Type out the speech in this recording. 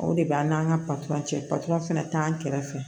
O de b'an n'an ka cɛ patɔrɔn fana t'an kɛrɛfɛ